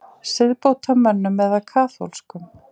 Siðbótarmönnum eða kaþólskum?